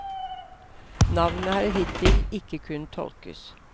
Navnet har hittil ikke kunnet tolkes.